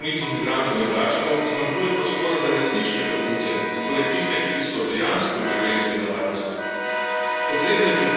Ravno zato ker nezakonitih migrantov ne vračamo, zmanjkuje prostora za resnične begunce, torej tiste, ki so dejansko v življenjski nevarnosti.